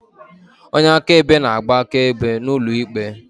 Onye akaebe na-agba akaebe n'ụlọ ikpe.